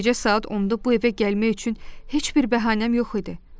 Gecə saat 10-da bu evə gəlmək üçün heç bir bəhanəm yox idi.